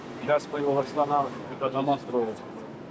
İndi biz oranı yenidən quracağıq.